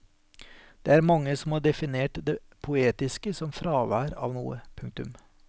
Det er mange som har definert det poetiske som fravær av noe. punktum